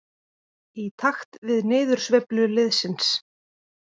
Í takt við niðursveiflu liðsins.